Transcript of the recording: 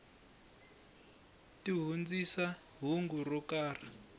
ti hundzisa hungu ro karhi